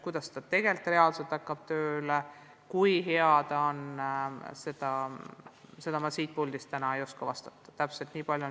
Kuidas see reaalselt tööle hakkab, kui hea see on, seda ma siit puldist täna ei oska öelda.